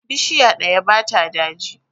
Bishiya ɗaya ba ta daji.